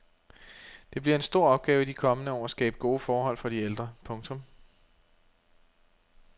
Det bliver en stor opgave i de kommende år at skabe gode forhold for de ældre. punktum